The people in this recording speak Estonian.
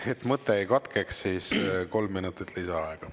Et mõte ei katkeks, siis kolm minutit lisaaega.